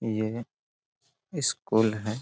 ये स्कूल है।